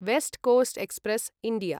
waste coast express India